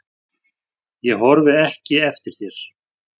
Ég horfi ekki eftir þér.